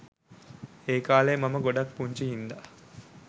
ඒකාලේ මම ගොඩක් පුංචි හින්දා